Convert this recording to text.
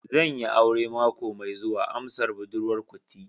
Zan yi aure mako mai zuwa, amsar budurwar kuti